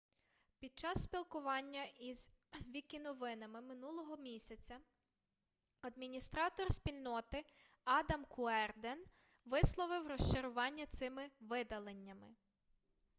під час спілкування із вікіновинами минулого місяця адміністратор спільноти адам куерден висловив розчарування цими видаленнями